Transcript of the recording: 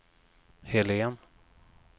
Helén